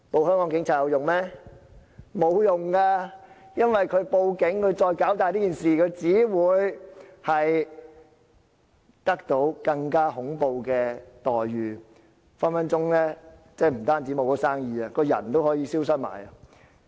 因為如果他們報警，把事情搞大，他們只會得到更恐怖的待遇，不但可能會失去生意，連人也可能會消失。